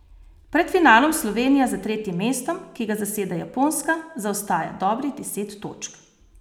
Pred finalom Slovenija za tretjim mestom, ki ga zaseda Japonska, zaostaja dobrih deset točk.